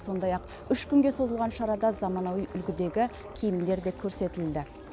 сондай ақ үш күнге созылған шарада заманауи үлгідегі киімдер де көрсетілді